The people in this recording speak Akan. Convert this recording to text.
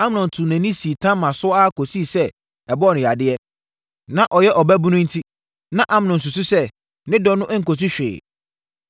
Amnon tuu nʼani sii Tamar so ara kɔsii sɛ ɛbɔɔ no yadeɛ. Na ɔyɛ ɔbaabunu enti, na Amnon susu sɛ ne dɔ no nkɔsi hwee.